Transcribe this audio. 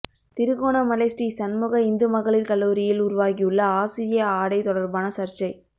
திருகோணமலை ஸ்ரீ சண்முக இந்துமகளிர் கல்லூரியில் உருவாகியுள்ள ஆசிரிய ஆடை தொடர்பான சர்ச்சை